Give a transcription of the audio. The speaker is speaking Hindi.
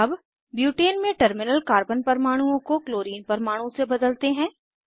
अब ब्यूटेन में टर्मिनल कार्बन परमाणुओं को क्लोरीन परमाणु से बदलते हैं